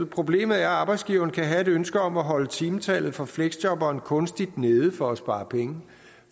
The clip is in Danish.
problemet er at arbejdsgiveren kan have et ønske om at holde timetallet for fleksjobberen kunstigt nede for at spare penge